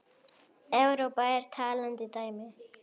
Evrópa er talandi dæmi.